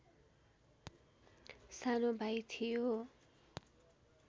सानो भाइ थियो